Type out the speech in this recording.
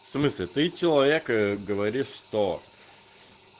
в смысле ты человек говоришь что